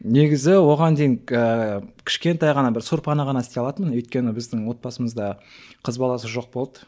негізі оған дейін ііі кішкентай ғана бір сорпаны ғана істей алатынмын өйткені біздің отбасымызда қыз баласы жоқ болды